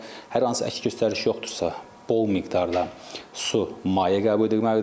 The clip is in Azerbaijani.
Hər hansı əks göstəriş yoxdursa, bol miqdarda su, maye qəbul edilməlidir.